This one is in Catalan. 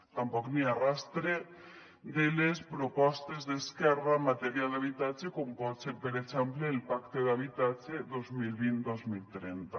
tampoc n’hi ha rastre de les propostes d’esquerra en matèria d’habitatge com pot ser per exemple el pacte d’habitatge dos mil vint dos mil trenta